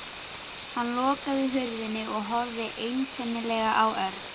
Hann lokaði hurðinni og horfði einkennilega á Örn.